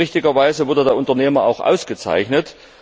Richtigerweise wurde der Unternehmer auch ausgezeichnet.